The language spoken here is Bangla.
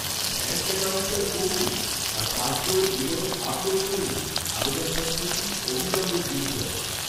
ব্যাঙ্ক অ্যাকাউন্টটা করুন, আর পাশবইয়ের বিবরণ আপলোড করুন, আবেদনপত্রটি অবিলম্বে গৃহীত হবে।